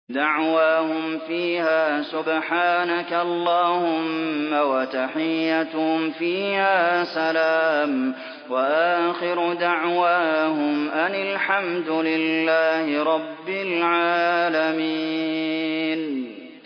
دَعْوَاهُمْ فِيهَا سُبْحَانَكَ اللَّهُمَّ وَتَحِيَّتُهُمْ فِيهَا سَلَامٌ ۚ وَآخِرُ دَعْوَاهُمْ أَنِ الْحَمْدُ لِلَّهِ رَبِّ الْعَالَمِينَ